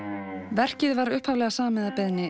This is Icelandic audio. verkið var upphaflega samið að beiðni